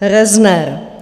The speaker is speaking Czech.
Rozner.